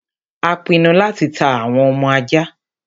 a pinu láti ta àwọn ọmọ aja